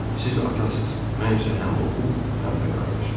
Siz atasız, mən isə həm oğul, həm də qardaşım.